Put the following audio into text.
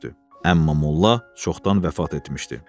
Amma molla çoxdan vəfat etmişdi.